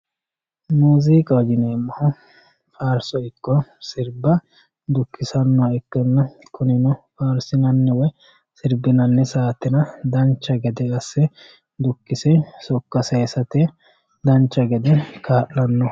muuziiqaho yineemmohu faarso ikko sirba dukkisannoha ikkanna kunino faarsinanni woyi sirbinanni saatera dancha gede asse dukkisanno sokka sayiisate dancha gede kaa'lanno.